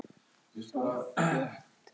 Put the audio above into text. sá fetótti